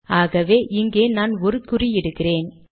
ஆகவே இங்கே நான் ஒரு குறியிடுகிறேன்